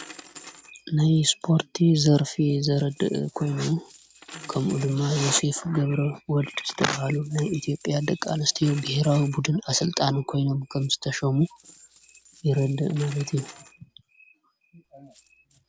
ናይ ስፖርቲ ዘርፊ ዘረድእ ኮይኑ ከምኡ ድማ ዮሴፍ ገብረ ወልድ ዝተብሃሉ ናይ ኢቲዮጵያ ደቂ ኣንስትዮ ብሄራዊ ቡድን ኣሠልጣኒ ኮይኖም ከም ዝተሸሙ የረድእ ማለት እዩ።